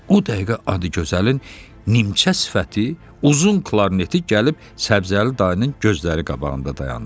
O dəqiqə Adıgözəlin incə sifəti, uzun klarneti gəlib Səbzəli dayının gözləri qabağında dayandı.